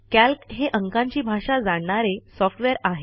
calc हे अंकांची भाषा जाणणारे सॉफ्टवेअर आहे